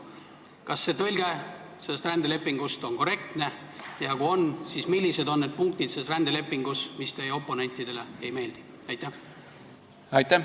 " Kas see rändelepingu tõlge on korrektne ja kui on, siis millised on need punktid selles rändelepingus, mis teie oponentidele ei meeldi?